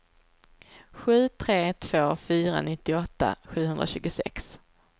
sju tre två fyra nittioåtta sjuhundratjugosex